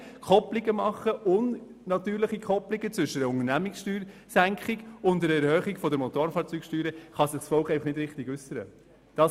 Wenn wir hier unnatürliche (USR) III ist von Kopplungen zwischen einer Unternehmenssteuersenkung und einer Erhöhung der Motorfahrzeugsteuer vornehmen, wird sich das Volk nicht richtig äussern können.